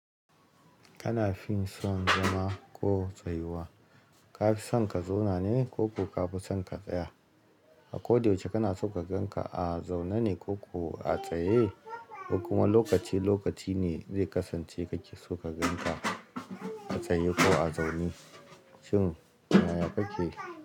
Kana fin son zama ko tsayuwa. Ka fi son ka zauna ne ko ku ka fi son ka tsaya? A ko da yaushe kana so ka gan ka, a zaune ne ko ko a tsaye? Ko kuma lokaci lokaci ne zai kasance kake so ka gan ka a tsaye ko a zaune. Shin yaya kake?